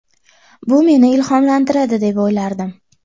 Bu meni ilhomlantiradi deb o‘ylardim.